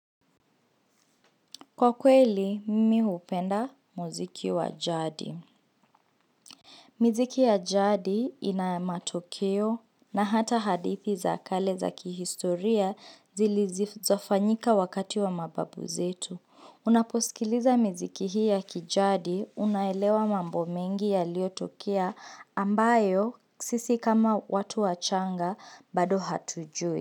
Kwa kweli mimi hupenda muziki wa jadi miziki ya jadi ina matokeo na hata hadithi za kale za kihistoria zilizofanyika wakati wa mababu zetu Unaposikiliza miziki hii ya kijadi unaelewa mambo mengi yaliyotokea ambayo sisi kama watu wachanga bado hatujui.